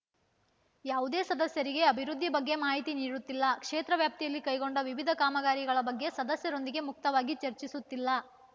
ಯಾವುದೇ ಸದಸ್ಯರಿಗೆ ಅಭಿವೃದ್ಧಿ ಬಗ್ಗೆ ಮಾಹಿತಿ ನೀಡುತ್ತಿಲ್ಲ ಕ್ಷೇತ್ರ ವ್ಯಾಪ್ತಿಯಲ್ಲಿ ಕೈಗೊಂಡ ವಿವಿಧ ಕಾಮಗಾರಿಗಳ ಬಗ್ಗೆ ಸದಸ್ಯರೊಂದಿಗೆ ಮುಕ್ತವಾಗಿ ಚರ್ಚಿಸುತ್ತಿಲ್ಲ